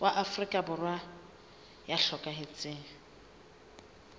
wa afrika borwa ya hlokahetseng